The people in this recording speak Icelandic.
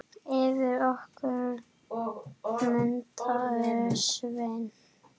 Yfir okkur muntu sveima.